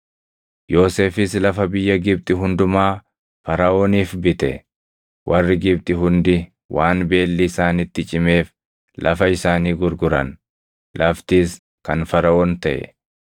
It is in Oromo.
Yoosefis lafa biyya Gibxi hundumaa Faraʼooniif bite. Warri Gibxi hundi waan beelli isaanitti cimeef lafa isaanii gurguran; laftis kan Faraʼoon taʼe;